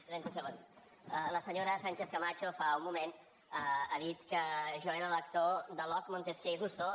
la senyora sánchez camacho fa un moment ha dit que jo era lector de locke montesquieu i rousseau